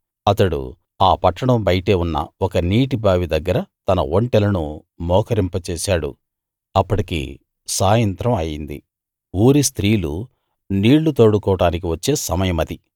అతడు ఆ పట్టణం బయటే ఉన్న ఒక నీటి బావి దగ్గర తన ఒంటెలను మోకరింప చేశాడు అప్పటికి సాయంత్రం అయింది ఊరి స్త్రీలు నీళ్ళు తోడుకోడానికి వచ్చే సమయమది